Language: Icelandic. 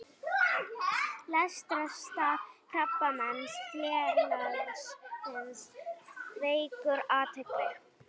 Leitarstarf Krabbameinsfélagsins vekur athygli